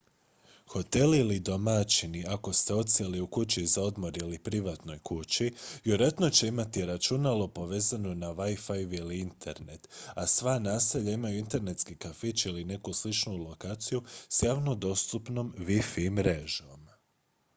hotel ili domaćini ako ste odsjeli u kući za odmor ili privatnoj kući vjerojatno će imati računalo povezano na wi-fi ili internet a sva naselja imaju internetski kafić ili neku sličnu lokaciju s javno dostupnom wi-fi mrežom